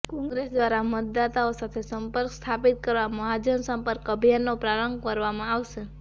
કોંગ્રેસ દ્વારા મતદાતાઓ સાથે સંપર્ક સ્થાપિત કરવા મહાજનસંપર્ક અભિયાનનો પ્રારંભ કરવામાં આવશે